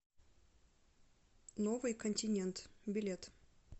новый континент билет